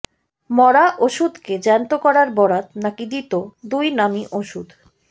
মরা ওষুধকে জ্যান্ত করার বরাত নাকি দিত দুই নামী ওষুধ